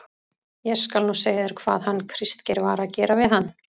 ÉG SKAL NÚ SEGJA ÞÉR HVAÐ HANN KRISTGEIR VAR AÐ GERA VIÐ HANN.